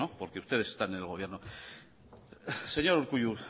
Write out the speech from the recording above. porque ustedes están en el gobierno señor urkullu